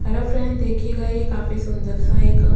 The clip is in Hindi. हेलो फ्रेंड देखिए गा यह काफी सुंदरसा एक--